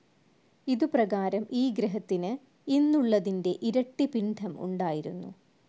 ഇതു പ്രകാരം ഈ ഗ്രഹത്തിനു ഇന്നുള്ളതിന്റെ ഇരട്ടി പിണ്ഡം ഉണ്ടായിരുന്നു.